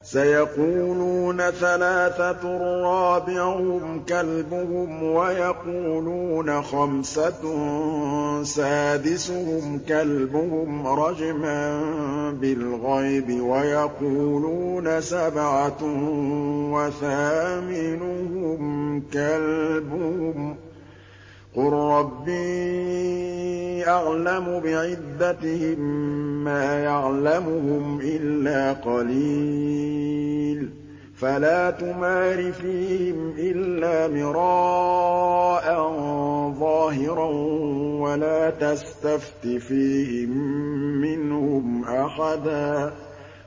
سَيَقُولُونَ ثَلَاثَةٌ رَّابِعُهُمْ كَلْبُهُمْ وَيَقُولُونَ خَمْسَةٌ سَادِسُهُمْ كَلْبُهُمْ رَجْمًا بِالْغَيْبِ ۖ وَيَقُولُونَ سَبْعَةٌ وَثَامِنُهُمْ كَلْبُهُمْ ۚ قُل رَّبِّي أَعْلَمُ بِعِدَّتِهِم مَّا يَعْلَمُهُمْ إِلَّا قَلِيلٌ ۗ فَلَا تُمَارِ فِيهِمْ إِلَّا مِرَاءً ظَاهِرًا وَلَا تَسْتَفْتِ فِيهِم مِّنْهُمْ أَحَدًا